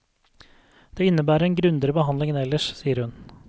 Det innebærer en grundigere behandling enn ellers, sier hun.